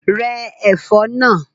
Rẹ́ ẹ̀fọ́ náà!